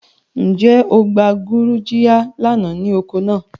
Nje o gba gurugiya lana ni oko naa?